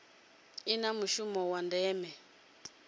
i na mushumo wa ndeme